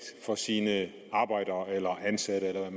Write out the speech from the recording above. fra sine arbejdere eller ansatte eller